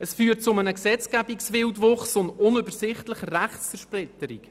Es führt zu einem Gesetzgebungswildwuchs und zu einer unübersichtlichen Rechtszersplitterung.